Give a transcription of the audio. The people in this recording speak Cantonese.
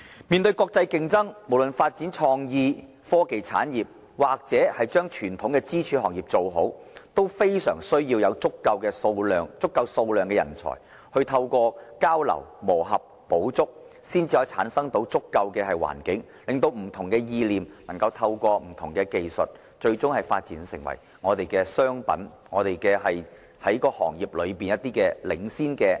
面對國際競爭，無論發展創意、科技產業或傳統支柱行業，均非常需要有足夠數量的人才，透過交流、磨合、補足，才能夠產生足夠的環境，令不同意念能夠透過不同技術，最終發展成為商品，在行業內佔據領先地位。